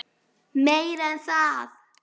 Meira en það.